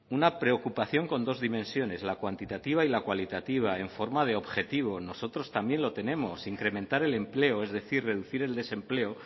una preocupación con dos dimensiones la cuantitativa y la cualitativa en forma de objetivo nosotros también lo tenemos incrementar el empleo es decir reducir el desempleo